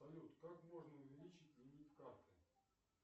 салют как можно увеличить лимит карты